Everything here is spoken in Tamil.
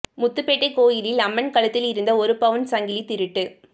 முத்துப்பேட்டை கோயிலில் அம்மன் கழுத்தில் இருந்த ஒரு பவுன் சங்கலி திருட்டு